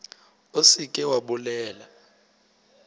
o se ke wa bolela